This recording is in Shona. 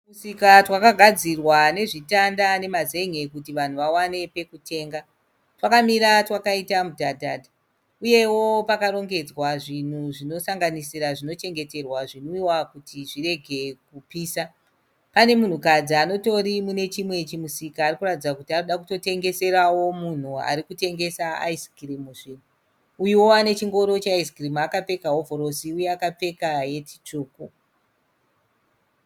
Tumisika twakagadzirwa nezvitanda nemazenge kuti vanhu vawane pekutenga. Twakamira twakaita mudhadhadha. Uyewo pakarongedzwa zvinhu zvinosanganisira zvinochengeterwa zvinwiwa kuti zvirege kupisa. Pane munhukadzi anotori mune chimwe chimusika ari kuratidza kuti ari kuda kutotengeserawo munhu ari kutengesa ayizikirimuzve. Uyuwo ane chingoro cheayizikirimu akapfeka hovhorosi uye akapfeka heti tsvuku.